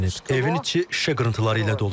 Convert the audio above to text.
Evin içi şüşə qırıntıları ilə doludur.